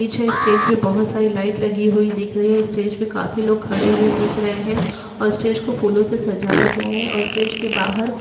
पीछे स्टेज पर बहुत सारी लाइट लगी हुई दिख रही हैं स्टेज पर काफी लोग खड़े हुए दिख रहे हैं और स्टेज को फूलों से सजाया गया है और स्टेज के बाहर --